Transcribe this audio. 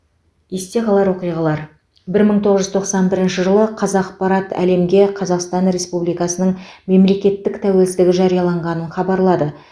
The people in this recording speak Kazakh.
есте қалар оқиғалар бір мың тоғыз жүз тоқсан бірінші жылы қазақпарат әлемге қазақстан республикасының мемлекеттік тәуелсіздігі жарияланғанын хабарлады